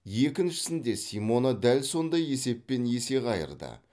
екіншісінде симона дәл сондай есеппен есе қайырды